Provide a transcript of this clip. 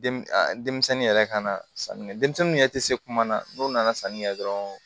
Denmisɛnnin yɛrɛ ka na sanni kɛ denmisɛnniw yɛrɛ tɛ se kuma na n'u nana sanni kɛ dɔrɔn